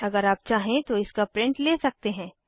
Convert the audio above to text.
अगर आप चाहें तो इसका प्रिंट ले सकते हैं